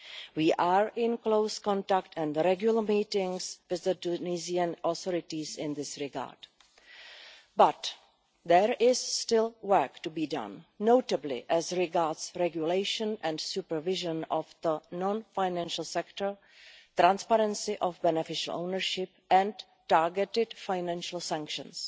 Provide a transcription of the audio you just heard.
We are in close contact and have regular meetings with the Tunisian authorities in this regard, but there is still work to be done, notably as regards regulation and supervision of the non financial sector, transparency of beneficial ownership and targeted financial sanctions.